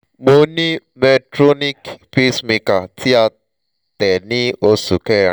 mo ni medtronic pacemaker ti a te ni oṣu kẹrin